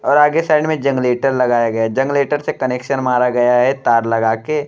और आगे साइड में जंगरेटर लगाया गया है। जंगरेटर से कनेक्शन मारा गया है तार लगा के।